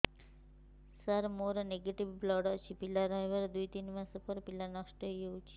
ସାର ମୋର negative blood ଅଛି ପିଲା ରହିବାର ଦୁଇ ତିନି ମାସ ପରେ ପିଲା ନଷ୍ଟ ହେଇ ଯାଉଛି